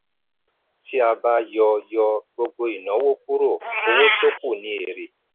tí a bá yọ yọ gbogbo ìnáwó kúrò owó tó kù ni èrè.